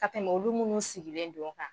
Ka tɛmɛ olu minnu sigilen don kan.